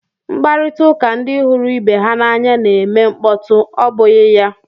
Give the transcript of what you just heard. Mkparịta ụka ndị hụrụ ibe ha n'anya na-eme mkpọtụ, ọ bụghị ya?